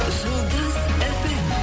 жұлдыз фм